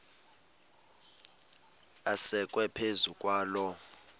asekwe phezu kwaloo